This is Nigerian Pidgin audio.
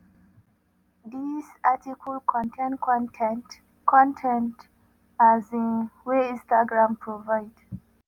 dis article contain con ten t con ten t um wey instagram provide.